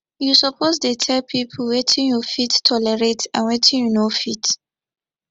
you suppose dey tell pipo wetin you fit tolerate and wetin you no fit